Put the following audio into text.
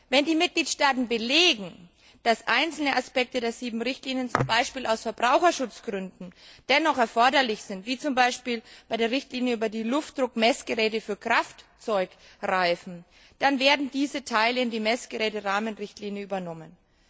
Wenn die Mitgliedstaaten belegen, dass einzelne Aspekte der sieben Richtlinien, beispielsweise aus Verbraucherschutzgründen, dennoch erforderlich sind, wie zum Beispiel bei der Richtlinie über die Luftdruckmessgeräte für Kraftzeugreifen, dann werden diese Teile in die Messgeräte Rahmenrichtlinie übernommen.